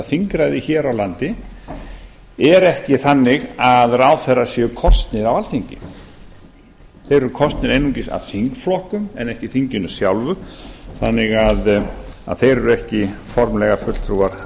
þingræðið hér á landi er ekki þannig að ráðherrar séu kosnir af alþingi þeir eru kosnir einungis af þingflokkum en ekki þinginu sjálfu þannig að þeir eru ekki formlega fulltrúar